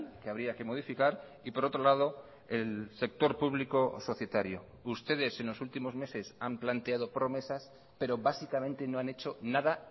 que habría que modificar y por otro lado el sector público societario ustedes en los últimos meses han planteado promesas pero básicamente no han hecho nada